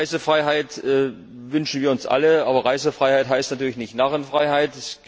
Reisefreiheit wünschen wir uns alle, aber Reisefreiheit heißt natürlich nicht Narrenfreiheit.